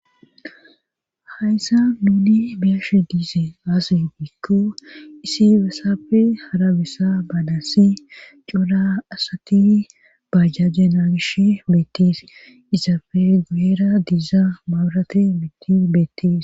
hayssa nuni biyishe diize aase giiko isi besafe hara besa baanassi cora asati bajajje nagishe beetetees. izape guyera diiza maarati mitti beettis